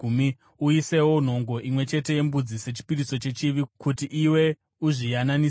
uisewo nhongo imwe chete yembudzi sechipiriso chechivi kuti iwe uzviyananisire.